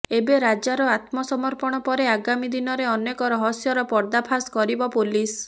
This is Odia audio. ଏବେ ରାଜାର ଆତ୍ମସମର୍ପଣ ପରେ ଆଗାମୀ ଦିନରେ ଅନେକ ରହସ୍ୟର ପର୍ଦ୍ଦାଫାଶ କରିବ ପୋଲିସ